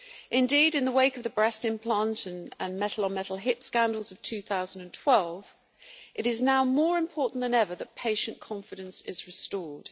Indeed, in the wake of the breast implant and metal-on-metal hip scandals of 2012, it is now more important than ever that patient confidence be restored.